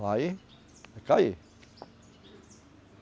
Vai, vai cair.